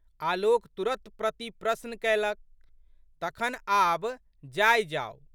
आलोक तुरत प्रतिप्रश्न कएलक। "तखन आब जाइ जाउ।